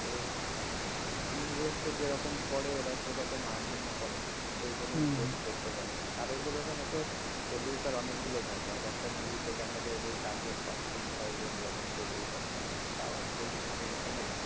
তো invest টা যেরকম করে ওরা সেরকম earning ও করে সেইজন্য invest ও করতে পারে আর ওদের ওখানে তো producer অনেকগুলো থাকে এক একটা মুভিতে দেখা যায় যে চার জন পাঁচ জন ছয় জন এরকম producer থাকে তো তারাও বেশ ভাল রকমের